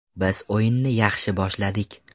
Biz o‘yinni yaxshi boshladik.